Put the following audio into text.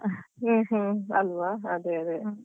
ಹ್ಮ್ ಹ್ಮ್ ಅಲ್ವಾ ಅದೇ ಅದೇ.